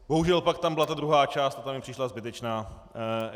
Bohužel pak tam byla ta druhá část a ta mi přišla zbytečná.